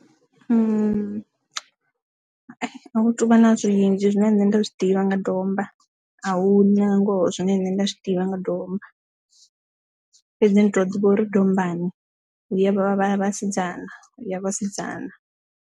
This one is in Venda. A hu tuvha na zwinzhi zwine nṋe nda zwi ḓivha nga domba a hu na ngoho zwine nṋe nda zwi ḓivha nga domba fhedzi ndi to ḓivha uri dombani hu ya vha vhasidzana ya vhasidzana.